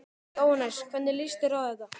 Jóhannes: Hvernig líst þér á þetta?